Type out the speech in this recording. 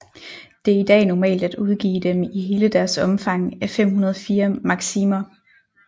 Det er i dag normalt at udgive dem i hele deres omfang af 504 maksimer